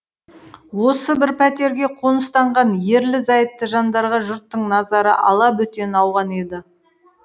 осы бір пәтерге қоныстанған ерлі зайыпты жандарға жұрттың назары алабөтен ауған еді